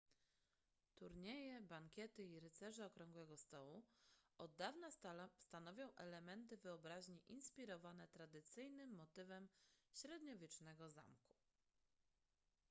turnieje bankiety i rycerze okrągłego stołu od dawna stanowią elementy wyobraźni inspirowane tradycyjnym motywem średniowiecznego zamku